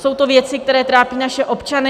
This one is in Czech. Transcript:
Jsou to věci, které trápí naše občany.